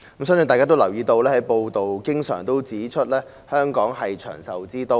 相信大家都留意到，不時有報道指香港是長壽之都。